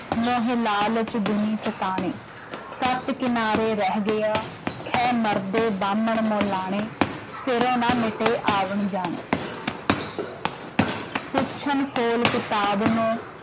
ਮੋਹੇ ਲਾਲਚ ਦੁਨੀ ਸੈਤਾਣੇ॥ ਸਚ ਕਿਨਾਰੇ ਰਹਿ ਗਇਆ, ਖਹਿ ਮਰਦੇ ਬਾਹਮਣ ਮਉਲਾਣੇ॥ ਸਿਰੋ ਨ ਮਿਟੇ ਆਵਣ ਜਾਣੇ॥ ਪੁੱਛਨ ਫੋਲ ਕਿਤਾਬ ਨੂੰ